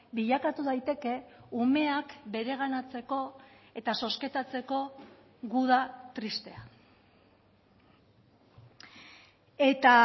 bilakatu daiteke umeak bereganatzeko eta zozketatzeko guda tristea eta